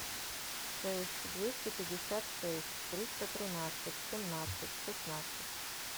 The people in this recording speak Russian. шесть двести пятьдесят шесть триста тринадцать семнадцать шестнадцать